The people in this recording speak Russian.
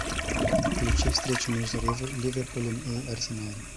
включи встречу между ливерпулем и арсеналом